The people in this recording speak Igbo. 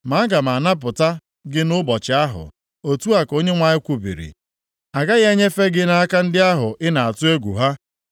Ma aga m anapụta gị nʼụbọchị ahụ, otu a ka Onyenwe anyị kwubiri. A gaghị enyefe gị nʼaka ndị ahụ ị na-atụ egwu ha.